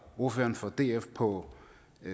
ordføreren for df på